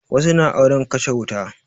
Wasu na auren kashe wuta